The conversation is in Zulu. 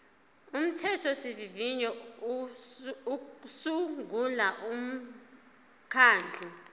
umthethosivivinyo usungula umkhandlu